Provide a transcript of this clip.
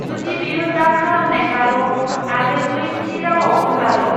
जुदि बेयो डाब खालामनायब्लाल' आरो बै थि रावाव दंब्लाल'।